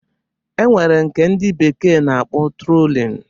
E nwere nke ndị bekee na-akpọ trollin